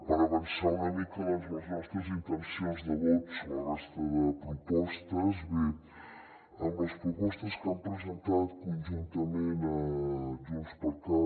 per avançar una mica les nostres intencions de vot sobre la resta de propostes bé en les propostes que han presentat conjuntament junts per cat